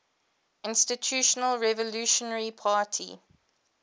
institutional revolutionary party